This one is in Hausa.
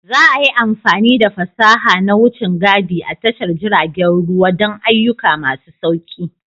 Za a yi amfani da fasaha na wucin gadi a tashar jiragen ruwa don ayyuka masu sauƙi.